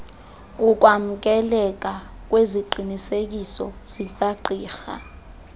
ukwamkeleka kweziqinisekiso zikagqirha